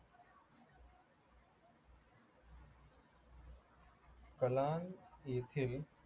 कलांत येथे